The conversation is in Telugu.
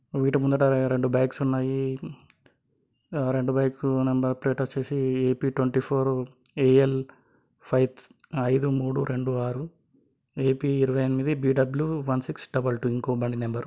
వీటి ముందట రెండు బైక్స్ ఉన్నాయి. ఆ రెండు బైక్స్ నెంబర్ ప్లేట్లు వచ్చేసి A P twenty four A _L five ఐదు మూడు రెండు ఆరు ఏ పీ ఇరవై ఎనిమిది B W one six double two ఇంకో బండి నెంబరు .